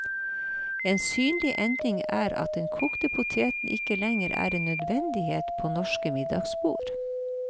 En synlig endring er at den kokte poteten ikke lenger er en nødvendighet på norske middagsbord.